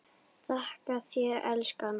Þakka þér elskan.